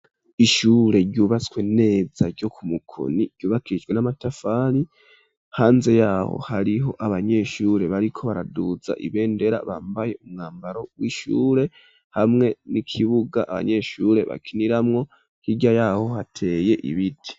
Ishure, ryubatswe neza, ryo ku Mukoni; ryubakishijwe n'amatafari, hanze y'aho hariho abanyeshure, bariko baraduza ibendera, bambaye umwambaro w'ishure; hamwe n'ikibuga, abanyeshure bakiniramwo; hirya y'aho, hateye ibiti.